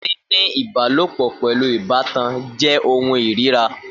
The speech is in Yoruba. Níní ìbálòpọ̀ pẹ̀lú ìbátan jẹ́ ohun ìríra